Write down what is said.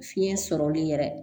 Fiɲɛ sɔrɔli yɛrɛ